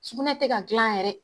Sugunɛ tɛ ka dilan yɛrɛ